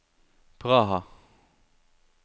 Praha